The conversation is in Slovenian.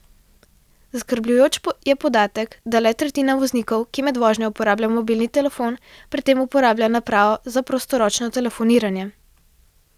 Zaskrbljujoč je podatek, da le tretjina voznikov, ki med vožnjo uporabljajo mobilni telefon, pri tem uporablja napravo za prostoročno telefoniranje.